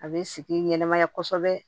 A bɛ sigi ɲɛnamaya kosɛbɛ